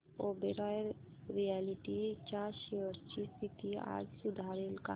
Oberoi realty च्या shares ची स्थिती आज सुधारेल का